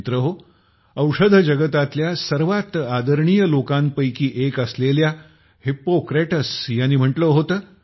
मित्रहो औषध जगतातल्या सर्वात आदरणीय लोकांपैकी एक असलेल्या हिप्पोक्रेट्स यांनी म्हटले होते